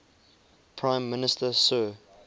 prime minister sir